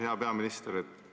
Hea peaminister!